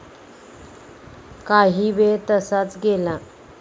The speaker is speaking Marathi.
काहीवेळ तसाच गेला.